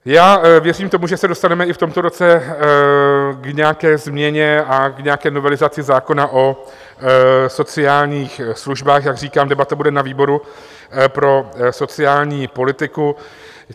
Já věřím tomu, že se dostaneme i v tomto roce k nějaké změně a k nějaké novelizaci zákona o sociálních službách, jak říkám, debata bude na výboru pro sociální politiku.